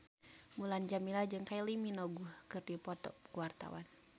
Mulan Jameela jeung Kylie Minogue keur dipoto ku wartawan